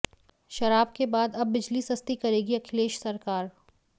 शराब के बाद अब बिजली सस्ती करेगी अखिलेश सरकार